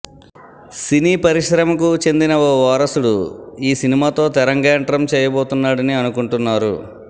సినీ పరిశ్రమకు చెందిన ఓ వారసుడు ఈ సినిమాతో తెరంగేట్రం చేయబోతున్నాడని అనుకుంటున్నారు